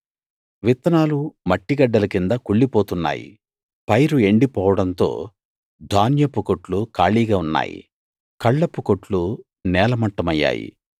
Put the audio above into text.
విత్తనాలు మట్టిగడ్డల కింద కుళ్ళిపోతున్నాయి పైరు ఎండిపోవడంతో ధాన్యపుకొట్లు ఖాళీగా ఉన్నాయి కళ్లపుకొట్లు నేలమట్టమయ్యాయి